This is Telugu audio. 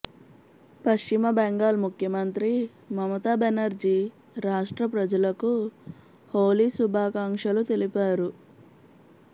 పశ్చిమ బెంగాల్ ముఖ్యమంత్రి మమతా బెనర్జీ రాష్ట్ర ప్రజలకు హోలీ శుభాకాంక్షలు తెలిపారు